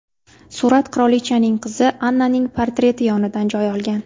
Surat qirolichaning qizi Annaning portreti yonidan joy olgan.